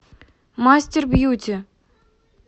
мастербьюти